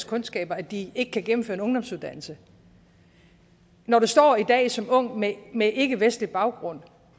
kundskaber at de ikke kan gennemføre en ungdomsuddannelse når du står i dag som ung med med ikkevestlig baggrund og